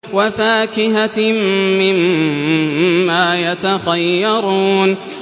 وَفَاكِهَةٍ مِّمَّا يَتَخَيَّرُونَ